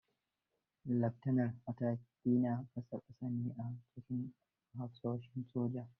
Leftanar, mataki na ƙasa-ƙasa ne a cikin hafsoshin soja.